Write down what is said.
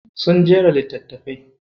Sun jera littatafai.